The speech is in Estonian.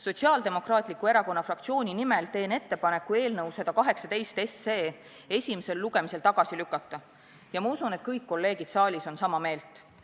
Sotsiaaldemokraatliku Erakonna fraktsiooni nimel teen ettepaneku eelnõu 118 esimesel lugemisel tagasi lükata ja ma usun, et kõik kolleegid siin saalis on sama meelt.